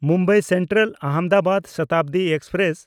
Mumbai ᱥᱮᱱᱴᱨᱟᱞ–ᱟᱦᱚᱢᱫᱟᱵᱟᱫ Shatabdi express